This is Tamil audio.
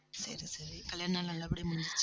சரி, சரி கல்யாணம் நல்ல படியா முடிஞ்சுச்சா